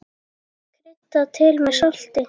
Kryddað til með salti.